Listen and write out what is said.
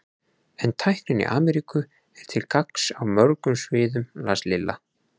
En tæknin í Ameríku er til gagns á mörgum sviðum las Lilla.